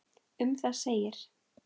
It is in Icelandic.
Um það segir